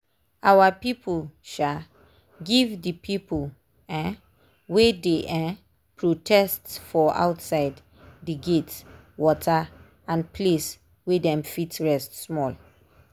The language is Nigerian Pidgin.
our people um give d people um wey dey um protest for outside d gate water and place way dem fit rest small